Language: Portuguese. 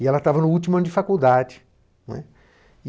E ela estava no último ano de faculdade, né.